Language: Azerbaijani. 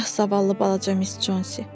Ah zavallı balaca Miss Consi.